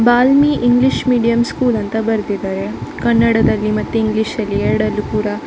ಬಾಲ್ಮಿ English medium school ಅಂತ ಬರ್ದಿದ್ದಾರೆ. ಕನ್ನಡದಲ್ಲಿ ಮತ್ತೆ ಇಂಗ್ಲಿಷಲ್ಲಿ ಎರಡರ್ಲಿ ಕೂಡ.